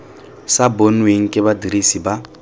sa bonweng ke badirisi ba